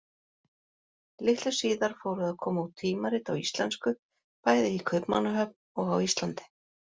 Litlu síðar fóru að koma út tímarit á íslensku, bæði í Kaupmannahöfn og á Íslandi.